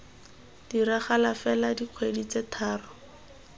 diragala fela dikgwedi tse thataro